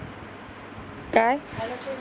काय?